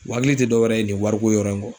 U hakili te dɔwɛrɛ ye nin wariko yɔrɔ in kɔ